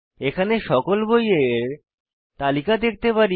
এখানে সকল বইয়ের তালিকা দেখতে পারি